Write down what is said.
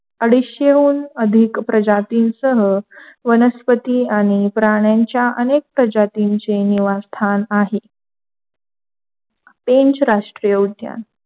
अडीशेहून अधिक प्रजातींसह वनस्पती आणि प्राण्यांच्या अनेक प्रजातीचे निवासस्थान आहेत. पेंच राष्ट्रीय उद्यान,